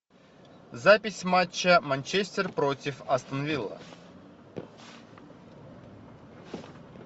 запись матча манчестер против астон вилла